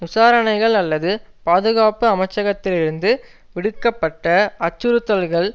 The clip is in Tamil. விசாரணைகள் அல்லது பாதுகாப்பு அமைச்சகத்திலிருந்து விடுக்க பட்ட அச்சுறுத்தல்கள்